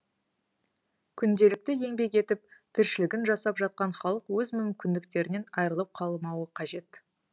күнделікті еңбек етіп тіршілігін жасап жатқан халық өз мүмкіндіктерінен айырылып қалмауы қажет